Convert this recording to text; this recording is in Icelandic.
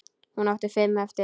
Hún átti fimm eftir.